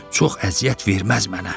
Çox əziyyət verməz mənə.